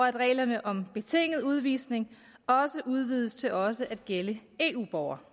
at reglerne om betinget udvisning udvides til også at gælde eu borgere